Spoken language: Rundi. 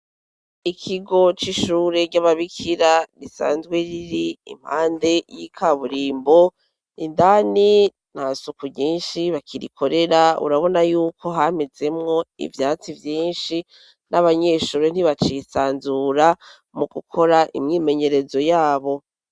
ikigo c'ishure ry'ababikira risanzwe riri impande y'ikaburimbo indani nta suku ryinshi bakirikorera urabona yuko hampezemwo ivyatsi vyinshi n'abanyeshuri ntibacisanzura mu gukora imyimenyerezo yabo